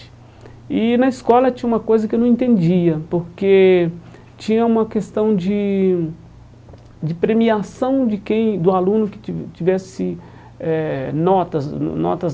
E na escola tinha uma coisa que eu não entendia, porque tinha uma questão de de premiação de quem do aluno que ti tivesse eh notas notas.